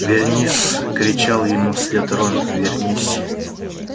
вернис кричал ему вслед рон вернись